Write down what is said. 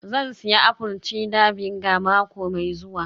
Zan sayi apple cider vinegar mako mai zuwa